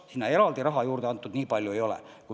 Sinna eraldi raha juurde nii palju antud ei ole.